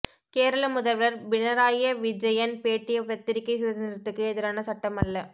கேரள முதல்வர் பினராய் விஜயன் பேட்டி பத்திரிகை சுதந்திரத்துக்கு எதிரான சட்டம் அல்ல